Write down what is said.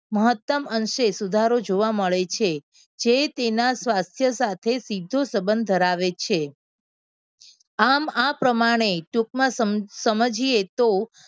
મહત્તમ અંશે સુધારો જોવા મળે છે. જે તેના સ્વાસ્થ્ય સાથે સીધો સંબંધ ધરાવે છે. આમ આ પ્રમાણે ટૂંકમાં સમજીએ તો